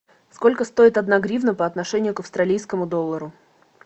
сколько стоит одна гривна по отношению к австралийскому доллару